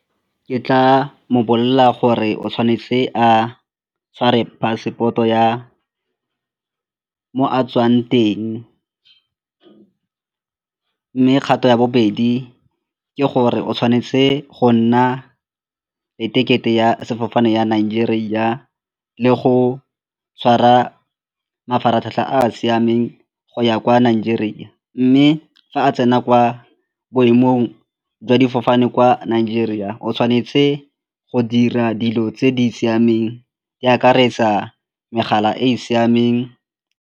Ke tla mo bolelela gore o tshwanetse a tshware passport-o ya mo a tswang teng mme kgato ya bobedi ke gore o tshwanetse go nna e ticket-e ya sefofane ya Nigeria le go tshwara mafaratlhatlha a a siameng go ya kwa Nigeria. Mme fa a tsena kwa boemong jwa difofane kwa Nigeria o tshwanetse go dira dilo tse di siameng di akaretsa megala e e siameng.